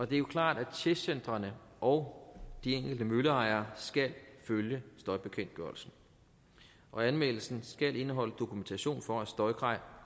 det er jo klart at testcentrene og de enkelte mølleejere skal følge støjbekendtgørelsen og anmeldelsen skal indeholde dokumentation for at støjkrav er